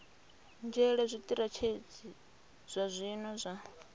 nzhele zwitirathedzhi zwa zwino zwa